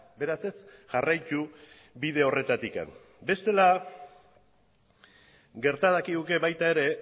beraz ez jarraitu bide horretatik bestela gerta dakiguke baita ere